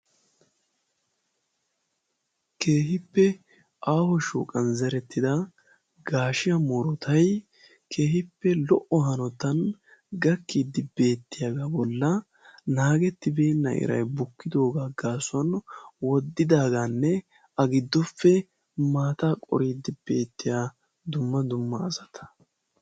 Keehippe aawo shooqan zerettida gaashiya murotai keehippe lo"o hanotan gakkiiddi beettiyaagaa bolla naagettibeenna iray bukkidoogaa gaasuwan woddidaagaanne a giddoppe maata qoriiddi beettiya dumma dumma asata.